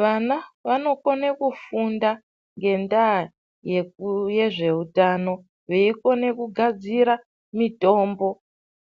Vana vanokone kufunda ngendaa yezvehutano weikona kugadzira mitombo